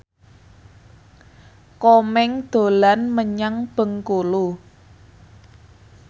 Komeng dolan menyang Bengkulu